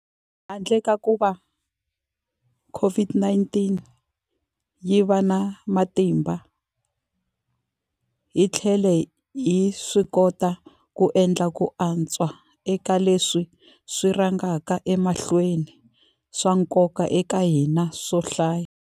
Handle ka kuva COVID-19 yi va na matimba, hi tlhele hi swikota ku endla ku antswa eka leswi swi rhangaka emahlweni swa nkoka eka hina swo hlaya.